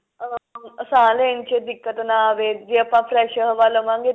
ah ਸਾਂਹ ਲੈਣ ਚ ਦਿੱਕਤ ਨਾ ਆਵੇ ਜੇ ਆਪਾਂ fresh ਹਵਾ ਲਵਾਂਗੇ